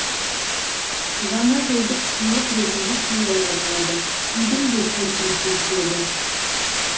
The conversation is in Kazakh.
жаңажылдық сыйлық ретінде сыйлауға болады үйдің де көркін келтіреді